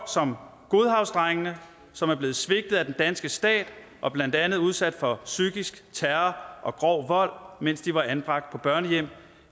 som godhavnsdrengene som er blevet svigtet af den danske stat og blandt andet udsat for psykisk terror og grov vold mens de var anbragt på børnehjem